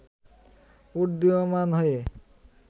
উড্ডীয়মান হয়ে